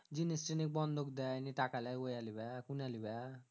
জিনিস তিনিস বন্ধক দেয় নি টাকা লেই ওয়া লিবা কুনা লিবা